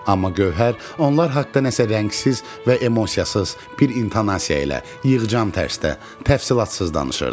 Amma Gövhər onlar haqda nəsə rəngsiz və emosiyasız, bir intonasiya ilə yığcan tərzdə, təfsilatsız danışırdı.